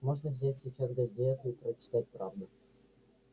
можно взять сейчас газету и прочитать правду